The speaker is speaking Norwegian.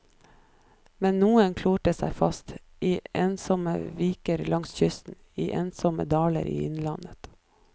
Men noen klorer seg fast, i ensomme viker langs kysten, i ensomme daler i innlandet.